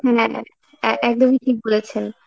হ্যাঁ এ~ একদমই ঠিক বলেছেন।